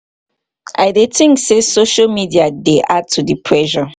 i dey think say social media dey add to di pressure.